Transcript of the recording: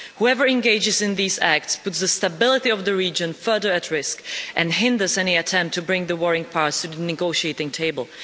Whoever engages in these acts puts the stability of the region further at risk and hinders any attempt to bring the warring parties to the negotiating table.